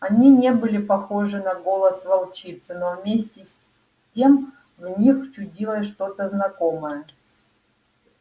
они не были похожи на голос волчицы но вместе с тем в них чудилось что-то знакомое